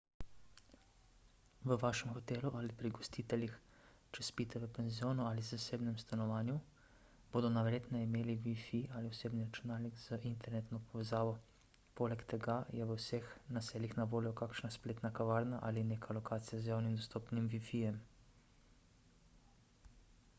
v vašem hotelu ali pri gostiteljih če spite v penzionu ali zasebnem stanovanju bodo najverjetneje imeli wifi ali osebni računalnik z internetno povezavo poleg tega je v vseh naseljih na voljo kakšna spletna kavarna ali neka lokacija z javno dostopnim wifi-jem